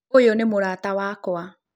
Ũyũ nĩ mũrata wakwa.